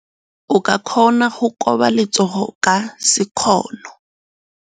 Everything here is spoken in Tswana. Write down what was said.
O ka kgona go koba letsogo ka sekgono.